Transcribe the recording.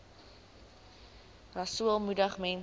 rasool moedig mense